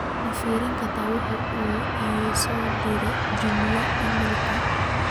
ma firi kartaa waxa uu ii soo diray juma iimaylka